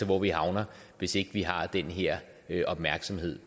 hvor vi havner hvis ikke vi har den her her opmærksomhed